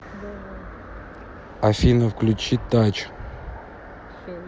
афина включи тач